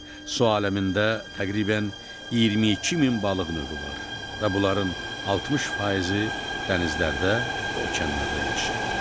Su aləmində təqribən 22 min balıq növü var və bunların 60 faizi dənizlərdə, okeanlarda yaşayır.